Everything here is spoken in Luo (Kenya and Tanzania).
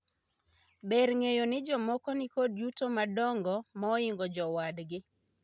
Ber ng'eyo ni jomoko nikod yuto madongo ma oingo jowadgi